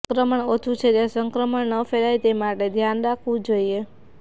સંક્રમણ ઓછુ છે ત્યાં સંક્રમણ ન ફેલાય તે માટે ધ્યાન રાખવું જોઇએ